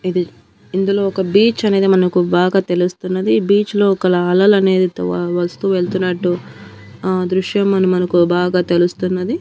ఇది ఇందులో ఒక బీచ్ అనేది మనకు బాగా తెలుస్తున్నది ఈ బీచ్ లో ఒకలా అలలు అనేవి తో వస్తు వెళ్తున్నట్టు ఆ దృశ్యం మని మనకు బాగా తెలుస్తున్నది.